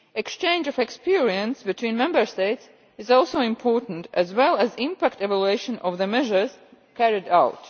Exchange of experience between Member States is also important, as well as impact evaluation of the measures carried out.